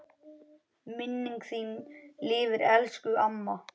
Minning þín lifir elsku amma.